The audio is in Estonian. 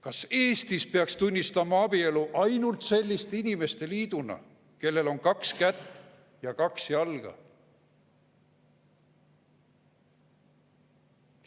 Kas Eestis peaks tunnistama abielu ainult selliste inimeste liiduna, kellel on kaks kätt ja kaks jalga?